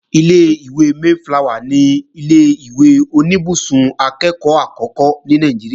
Ilé-ìwé Mayflower ni ilé-ìwé oníbùsùn akẹ́ẹ̀kọ́ àkọ́kọ́ ní Nàìjíríà